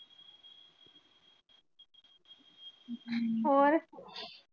ਹੋਰ?